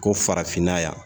Ko farafinna yan